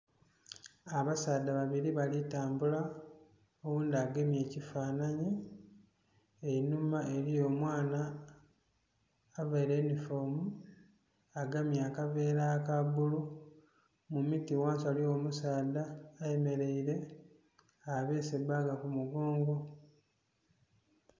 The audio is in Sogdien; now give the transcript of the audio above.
Abasaadha babili bali tambula, oghundhi agemye ekifanhanhi. Einhuma eliyo omwana availe yunifoomu agemye akaveera aka bbulu. Mu miti ghansi ghaligho omusaadha ayemeleire, abeese bbaaga ku mugongo.